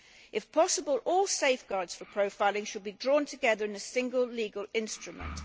If possible, all safeguards for profiling should be drawn together in a single legal instrument.